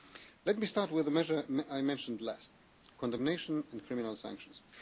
Let me start with the measures I mentioned last, condemnation and criminal sanctions.